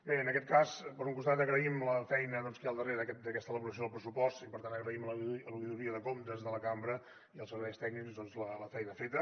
bé en aquest cas per un costat agraïm la feina que hi ha al darrere d’aquesta elaboració del pressupost i per tant agraïm a l’oïdoria de comptes de la cambra i als serveis tècnics doncs la feina feta